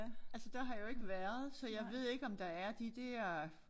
Altså der har jeg jo ikke været så jeg ved ikke om der er de der